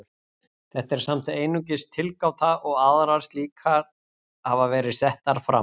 þetta er samt einungis tilgáta og aðrar slíkar hafa verið settar fram